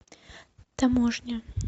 таможня